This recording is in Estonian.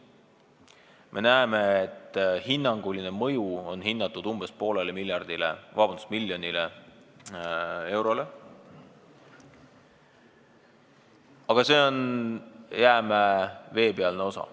Me näeme, et selle mõju on hinnatud umbes poolele miljonile eurole, aga see on jäämäe veepealne osa.